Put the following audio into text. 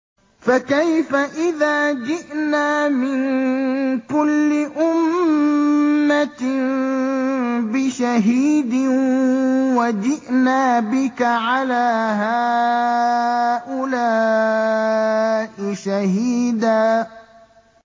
فَكَيْفَ إِذَا جِئْنَا مِن كُلِّ أُمَّةٍ بِشَهِيدٍ وَجِئْنَا بِكَ عَلَىٰ هَٰؤُلَاءِ شَهِيدًا